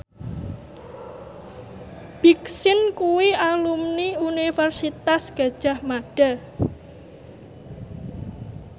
Big Sean kuwi alumni Universitas Gadjah Mada